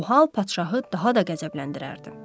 Bu hal padşahı daha da qəzəbləndirərdi.